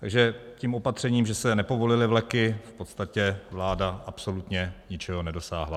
Takže tím opatřením, že se nepovolily vleky, v podstatě vláda absolutně ničeho nedosáhla.